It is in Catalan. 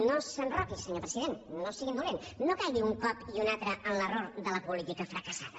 no s’enroqui senyor president no sigui indolent no caigui un cop i un altre en l’error de la política fracassada